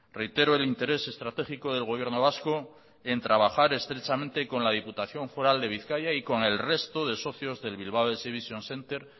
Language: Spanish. reitero el interés estratégico del gobierno vasco en trabajar estrechamente con la diputación foral de bizkaia y con el resto de socios del bilbao exhibition centre